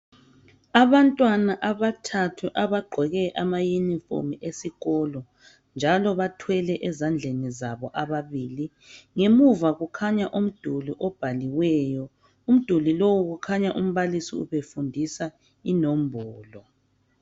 Abantwana abathathu abagqoke abauniformu esikolo njalo bathwele ezandleni zabo ababili ngemuva kukhanya umduli obhaliweyo umduli lowo kukhanya umbalisi ubefundisa inombolo.